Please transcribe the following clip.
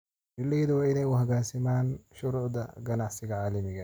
Beeralaydu waa inay u hoggaansamaan shuruucda ganacsiga caalamiga ah.